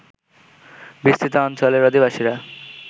বিস্তৃত অঞ্চলের অধিবাসীরা